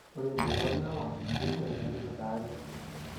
ore indero lewa neishori metipika ate